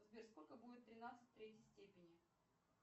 сбер сколько будет тринадцать в третьей степени